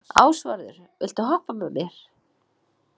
Ásvarður, viltu hoppa með mér?